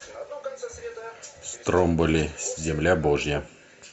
стромболи земля божья